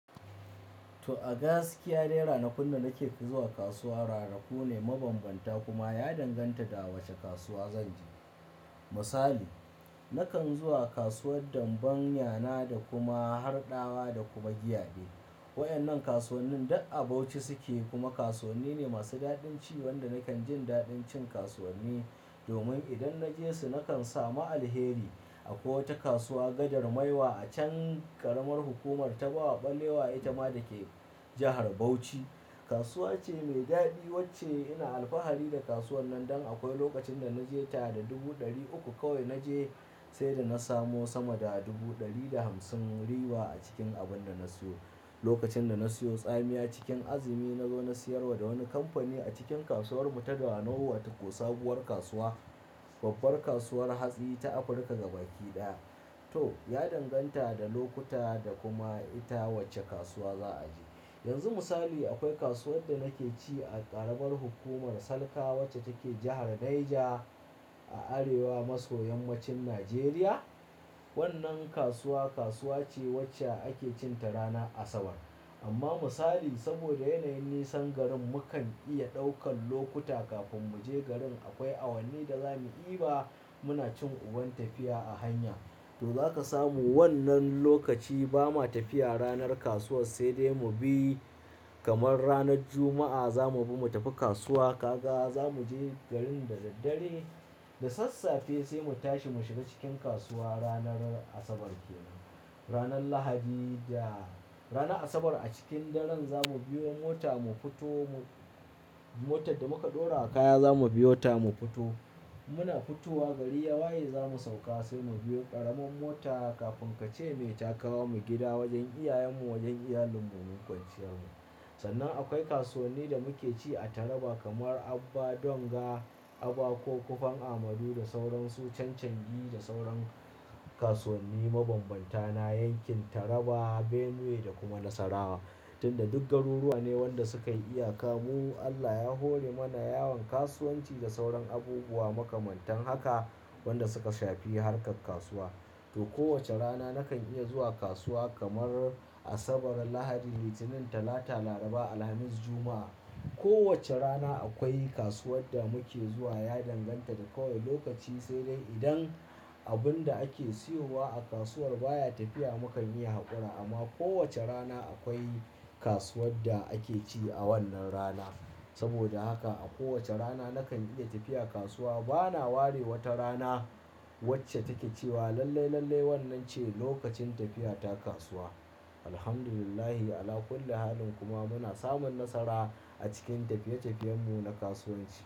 To, a gaskiyar dai rana kun da nake zuwa kasuwa. Ranaku ne mabambanta kuma ya danganta da wace kasuwa zan je. Misali, nakan zuwa kasuwar Danbanya na da kuma Harɗawa da kuma Giyade. Waƴannan kasuwannin duk a Bauchi suke kuma kasuwanni ne masu daɗin ci wanda nakan jin daɗin cin kasuwanni domin idan naje su nakan samu alheri. Akwai wata kasuwa, Gadar Maiwa a can ƙaramar hukumar Tafawa Ɓalewa itama da ke jahar Bauchi. Kasuwa ce mai daɗi wacce ina alfahari da kasuwar nan dan akwai lokacin da naje ta da dubu ɗari uku kawai naje sai da na samu sama da dubu ɗari da hamsin riba a cikin abin da na siyo. Lokacin da na siyo tsamiya cikin azumi nazo na siyarwa da wani kamfani a cikin kasuwar Mutadawa nau watakosabuwar kasuwa, babbar kasuwar hatsi ta Afirka gabaki ɗaya. To, ya danganta da lokuta da kuma ita wacce kasuwa za a je. Yanzu misali akwai kasuwar da nake ci a ƙaramar hukumar Salka wacce take jahar Naija a arewa maso yammacin Najeriya. Wannan kasuwa, kasuwa ce wacce ake cin ta ranar Asabar. Amma misali saboda yanayin nisan garin mukan iya ɗaukan lokuta kafin mu je garin. Akwai awanni da zamu i ba muna cin uban tafiya a hanya. To, zaka samu wannan lokaci ba ma tafiya ranar kasuwar sai dai mu bi kamar ranar Juma'a zamu bi mu tafi kasuwa. Ka ga zamu je garin da daddare da sassafe sai mu tashi mu shiga cikin kasuwa. Ranar Asabar kenan. Ranar Lahadi da ranar Asabar a cikin daren zamu biyo mota mu fito. Motar da muka ɗora kaya zamu biyo ta mu fito. Muna fitowa gari ya waye zamu sauka sai mu biyo ƙaramin mota kafin ka ce me ta kawo mu gida wajen iyayenmu wajen iyalin mu mun kwancewa. Sannan akwai kasuwanni da muke ci a Taraba kamar Abba Donga, Aba ko Kofan Amadu da sauran su. Chanchangi da sauran kasuwanni mabambantana yankin Taraba, Benue da kuma Nasarawa tunda duk garuruwa ne waɗanda suka iya kamuwa. Allah ya hore mana yawon kasuwanci da sauran abubuwa makamantan haka waɗanda suka shafi harkar kasuwa. To, kowace rana nakan iya zuwa kasuwa kamar Asabar, Lahadi, Litinin, Talata, Laraba, Alhamis, Juma'a. Kowace rana akwai kasuwar da muke zuwa. Ya danganta da kawai lokaci sai dai idan abun da ake siyowa a kasuwar baya tafiya mukan iya haƙura amma kowace rana akwai kasuwar da ake ci a wannan rana. Saboda haka a kowace rana nakan iya tafiya kasuwa. Bana ware wata rana wacce take cewa lallai, lallai wannan ce lokacin tafiya ta kasuwa. Alhamdulillah Ala kulli halin kuma muna samun nasara a cikin tafiye-tafiyen mu na kasuwanci.